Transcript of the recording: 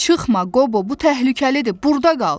Çıxma Qobo, bu təhlükəlidir, burda qal.